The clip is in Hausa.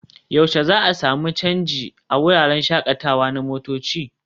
yaushe za su sami canji a wuraren shakatawa na motoci?